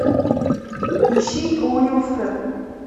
ищи уилфред